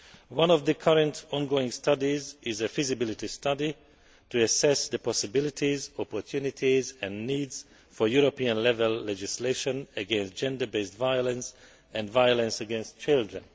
One of the current ongoing studies is a feasibility study to assess the possibilities, opportunities and needs for European level legislation against gender based violence and violence against children.